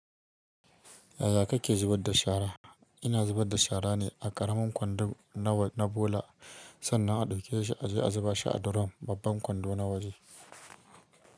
Yaya kake zubar da shara? Ina zubar da shara ne a ƙaramin kwando na bola sannan a ɗauke shi a je a zuba shi a durun babban kwando na waje.